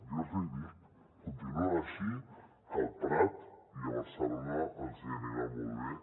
jo els hi dic continuïn així que al prat i a barcelona els hi anirà molt bé